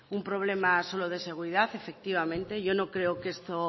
un problema solo de seguridad efectivamente yo no creo